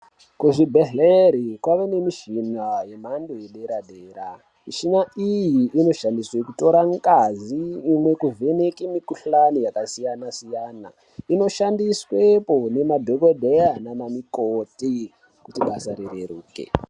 Kuzvibhehlera kwane mishina yemhando yepadera dera, mishina iyi inoshandiswa kutora ngazi imwe kuvheneka mikhuhlani yakasiyana siyana inoshandiswpo nemadhokodheya nanamukoti kuti basa rireruke.